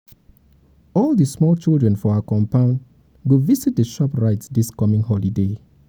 all di small children for our compound go visit shoprite dis coming holiday